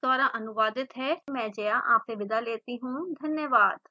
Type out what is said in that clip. यह स्क्रिप्ट श्रुति आर्य द्वारा अनुवादित है आई आई टी बॉम्बे से मैं जया आपसे विदा लेती हूँ धन्यवाद